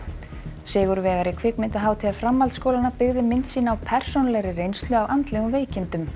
sigurvegari kvikmyndahátíðar framhaldsskólanna byggði mynd sína á persónulegri reynslu af andlegum veikindum